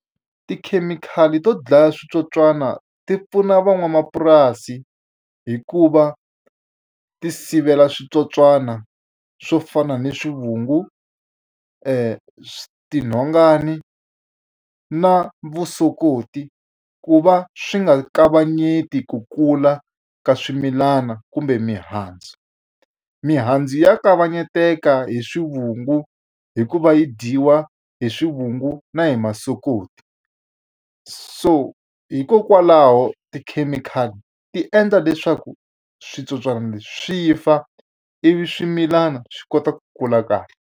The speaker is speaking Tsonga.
Tikhemikhali to dlaya switsotswana ti pfuna van'wamapurasi hi ku va ti sivela switsotswana swo fana ni swivungu, tinhongani na vusokoti, ku va swi nga kavanyeti ku kula ka swimilana kumbe mihandzu. Mihandzu ya kavanyeteka hi swivungu hi ku va yi dyiwa hi swivungu na hi masokoti. So hikokwalaho tikhemikhali ti endla leswaku switsotswana leswi swi fa, ivi swimilana swi kota ku kula kahle.